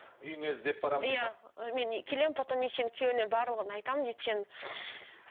үйіңе іздеп барамын дейді ме мен келемін потом сенің күйеуіңе барлығын айтамын дейді сенің